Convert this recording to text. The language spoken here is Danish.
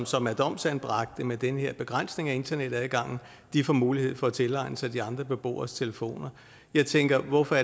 som er domsanbragte med den her begrænsede internetadgang får mulighed for at tilegne sig de andre beboeres telefoner jeg tænker hvorfor